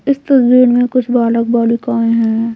इस तस्वीर में कुछ बालक-बालिकाएं हैं ।